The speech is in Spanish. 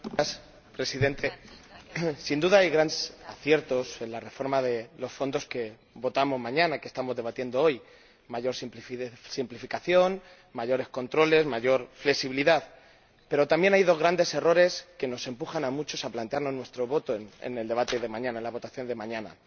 Señor Presidente, sin duda hay grandes aciertos en la reforma de los Fondos que votaremos mañana y que estamos debatiendo hoy mayor simplificación, mayores controles, mayor flexibilidad. Pero también hay dos grandes errores, que nos empujan a muchos a plantearnos nuestro voto en la votación de mañana.